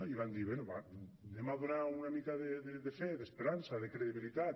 i van dir bé donem una mica de fe d’esperança de credibilitat